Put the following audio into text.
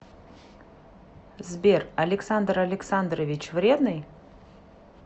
сбер александр александрович вредный